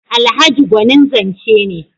Alhaji gwanin zance ne.